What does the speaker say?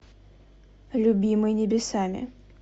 любимый небесами